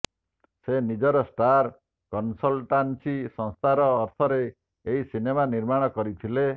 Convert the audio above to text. ସେ ନିଜର star consultancy ସଂସ୍ଥାର ଅର୍ଥରେ ଏହି ସିନେମା ନିର୍ମାଣ କରିଥିଲେ